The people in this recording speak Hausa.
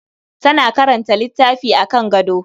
Tana karanta littafi akan gado.